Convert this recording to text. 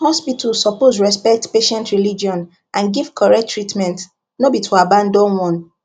hospital suppose respect patient religion and give correct treatment no be to abandon one